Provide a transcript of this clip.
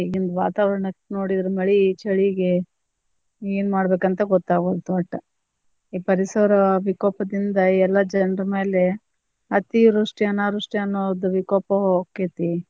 ಈಗಿನ ವಾತಾವರಣಕ್ ನೋಡಿದ್ರ ಮಳಿ ಚಳಿಗೆ ಏನ್ ಮಾಡ್ಬೇಕಂತ ಗೊತ್ತಾಗವಲ್ದು ವಟ್ಟ, ಈ ಪರಿಸರ ವಿಕೋಪದಿಂದಾ ಎಲ್ಲಾ ಜನರ ಮ್ಯಾಲೆ ಅತಿವೃಷ್ಟಿ ಅನಾವೃಷ್ಟಿ ಅನ್ನೋದ್ ವಿಕೋಪಾ ಹೊಕ್ಕೇತಿ.